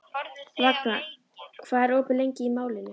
Vagna, hvað er opið lengi í Málinu?